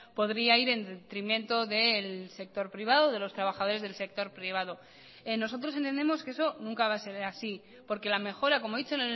podría ir en detrimento del sector privado de los trabajadores del sector privado nosotros entendemos que eso nunca va a ser así porque la mejora como he dicho